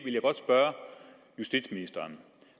jeg godt spørge justitsministeren